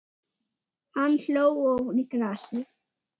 Hann hló ofan í grasið.